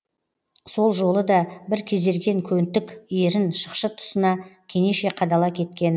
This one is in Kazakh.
сол жолы да бір кезерген көнтік ерін шықшыт тұсына кенеше қадала кеткені